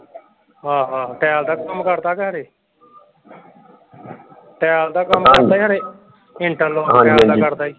ਆਹੋ ਆਹੋ ਟਾਈਲ ਦਾ ਕੰਮ ਕਰਦਾ ਖਰੇ। ਟਾਈਲ ਦਾ ਕੰਮ ਕਰਦਾ ਖਰੇ ਇੰਟਰਲੋਕ ਦਾ ਕਰਦਾ ਸੀ